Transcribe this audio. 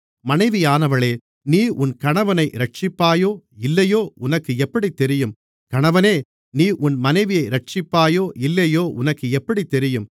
மனைவியானவளே நீ உன் கணவனை இரட்சிப்பாயோ இல்லையோ உனக்கு எப்படித் தெரியும் கணவனே நீ உன் மனைவியை இரட்சிப்பாயோ இல்லையோ உனக்கு எப்படித் தெரியும்